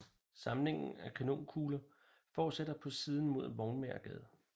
Samlingen af kanonkugler fortsætter på siden mod Vognmagergade